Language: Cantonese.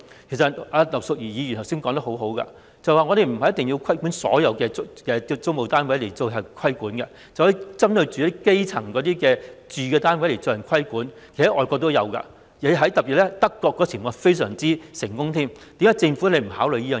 其實葉劉淑儀議員剛才說得很好，我們不一定要規管所有租務單位，可以只針對基層市民的住宅單位加以規管，而外國其實亦有這種情況，特別是德國的做法非常成功，政府為何不考慮這個方案？